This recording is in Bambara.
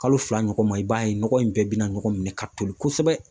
Kalo fila ɲɔgɔn ma, i b'a ye nɔgɔ in bɛɛ bina ɲɔgɔn minɛ ka toli kosɛbɛ